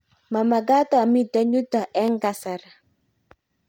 mamekat amite yuto eng' kasari